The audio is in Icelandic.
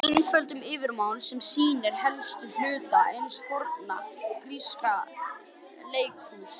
Einfölduð yfirlitsmynd sem sýnir helstu hluta hins forna gríska leikhúss.